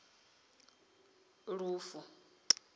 lufule